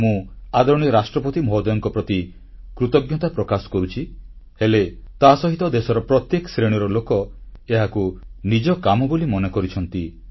ମୁଁ ଆଦରଣୀୟ ରାଷ୍ଟ୍ରପତି ମହୋଦୟଙ୍କ ପ୍ରତି କୃତଜ୍ଞତା ପ୍ରକାଶ କରୁଛି ହେଲେ ତାସହିତ ଦେଶର ପ୍ରତ୍ୟେକ ଶ୍ରେଣୀର ଲୋକ ଏହାକୁ ନିଜ କାମ ବୋଲି ମନେ କରିଛନ୍ତି